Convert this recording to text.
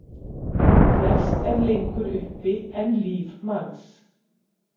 Flest er lengur uppi en líf manns.